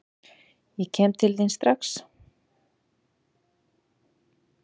Ég kem til þín kallaði Magga strax glaðlegri.